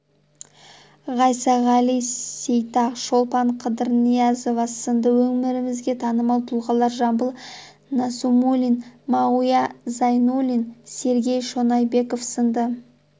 ғайсағали сейтақ шолпан қыдырниязова сынды өңірімізге танымал тұлғалар жамбыл насимуллин мағауия зайнуллин сергей шонайбеков сынды